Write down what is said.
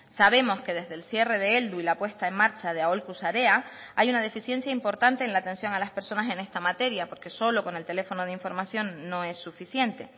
sabemos que desde el cierre de heldu y la puesta en marcha de aholku sarea hay una deficiencia importante en la atención a las personas en esta materia porque solo con el teléfono de información no es suficiente